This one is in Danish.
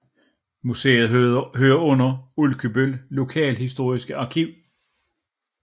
Museet hører under Ulkebøl Lokalhistorisk Arkiv